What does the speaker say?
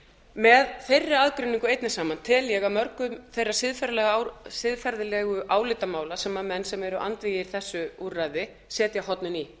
með þeirri aðgreiningu einni saman tel ég að mörgum þeirra siðferðilegu álitamála sem menn sem eru andvígir þessu úrræði setja hornin í